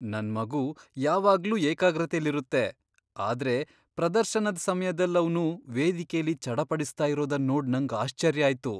ನನ್ ಮಗು ಯಾವಾಗ್ಲೂ ಏಕಾಗ್ರತೆಯಲ್ಲಿರುತ್ತೆ, ಆದ್ರೆ ಪ್ರದರ್ಶನದ್ ಸಮ್ಯದಲ್ ಅವ್ನು ವೇದಿಕೆಲಿ ಚಡಪಡಿಸ್ತಾ ಇರೋದನ್ ನೋಡ್ ನಂಗ್ ಆಶ್ಚರ್ಯ ಆಯ್ತು.